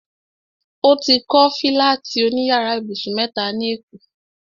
O ti kọ́ fílátì òní yàrá ibùsùn mẹ́ta ní èkó